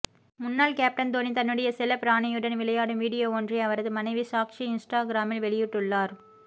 முன்னாள் கேப்டன் தோணி தன்னுடைய செல்லப்பிராணியுடன் விளையாடும் வீடியோ ஒன்றை அவரது மனைவி சாக்ஷி இன்ஸ்டாக்ராம்மில் வெளியிட்டுள்ளார்